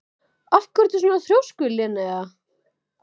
Af hverju ertu svona þrjóskur, Linnea?